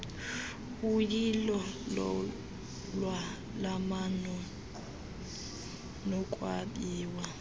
uyilo lolwalamano nokwabiwa